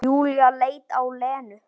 Júlía leit á Lenu.